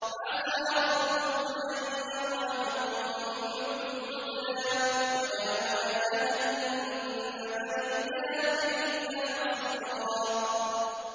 عَسَىٰ رَبُّكُمْ أَن يَرْحَمَكُمْ ۚ وَإِنْ عُدتُّمْ عُدْنَا ۘ وَجَعَلْنَا جَهَنَّمَ لِلْكَافِرِينَ حَصِيرًا